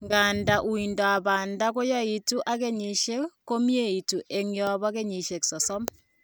Nganda uindab banda koyaitu ak kenyisiek, komieitu en yombo kenyisiek 30